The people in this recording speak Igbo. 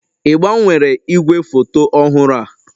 Ị gbanwere igwefoto ọhụrụ a?